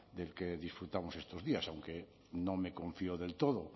del que disfrutamos estos días aunque no me confío del todo